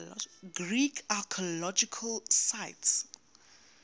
greek archaeological sites